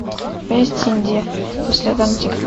у тебя есть индия по следам тигра